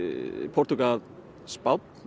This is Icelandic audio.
Portúgal Spánn